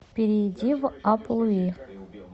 перейди в апп луи